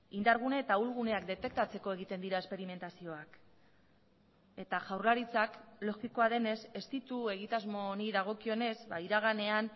indargune eta ahulguneak detektatzeko egiten dira esperimentazioak eta jaurlaritzak logikoa denez ez ditu egitasmo honi dagokionez iraganean